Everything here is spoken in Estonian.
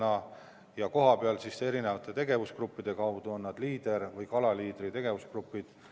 Seda tehakse kohapeal erinevate tegevusgruppide kaudu, näiteks Leaderi või nn kala-Leaderi tegevusgruppide kaudu.